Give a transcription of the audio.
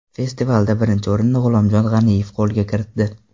Festivalda birinchi o‘rinni G‘ulomjon G‘aniyev qo‘lga kiritdi.